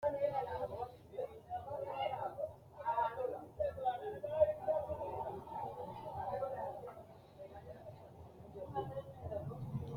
Qoxeesaho leelanno wedelli loosani afamanori maati insa mule leeltanno addi addi murote su'mi maatu kuri wedelli udidhino uduunu dani hiitooho